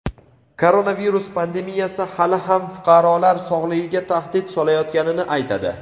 koronavirus pandemiyasi hali ham fuqarolar sog‘lig‘iga tahdid solayotganini aytadi.